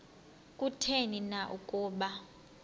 kutheni na ukuba